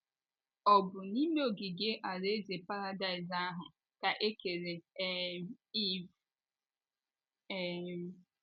Ọ bụ n’ime ogige alaeze paradaịs ahụ ka e kere um Iv?. um